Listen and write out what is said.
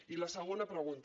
i la segona pregunta